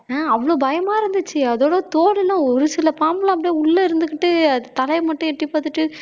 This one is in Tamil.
ஆஹ் அவ்வளவு பயமா இருந்துச்சு அதோட தோலுலாம் ஒரு சில பாம்பு எல்லாம் அப்படியே உள்ள இருந்துகிட்டு அது தலையை மட்டும் எட்டிப் பாத்துட்டு